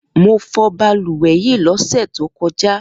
Mo fọ balùwẹ̀ yìí lọ́sẹ̀ tó kọjá